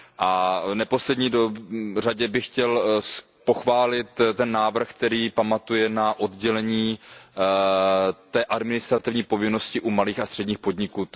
A v neposlední řadě bych chtěl pochválit ten návrh, který pamatuje na oddělení administrativní povinnosti u malých a středních podniků.